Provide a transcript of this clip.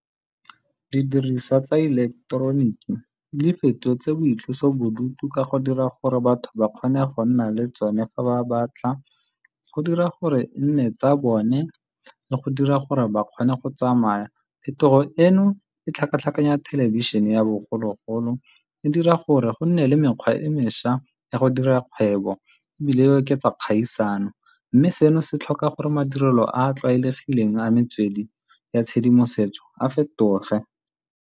Didiriswa tsa ileketeroniki di fetotse boitlosobodutu ka go dira gore batho ba kgone go nna le tsone fa ba batla, go dira gore e nne tsa bone le go dira gore ba kgone go tsamaya. Phetogo eno e tlhakatlhakanya thelebišhene ya bogologolo, e dira gore go nne le mekgwa e me ntšwa ya go dira kgwebo ebile e oketsa kgaisano, mme seno se tlhoka gore madirelo a a tlwaelegileng a metswedi ya tshedimosetso a fetoge.